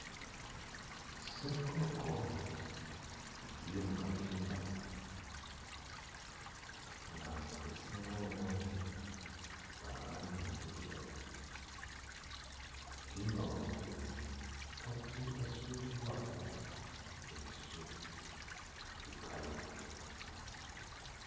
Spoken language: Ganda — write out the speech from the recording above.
Ssekkoko ziri mu katimba nga ezisinga obungi za langi nzirugavu, kkatimba waggulu kasi kasuuliddwako ebisubi ebikalu.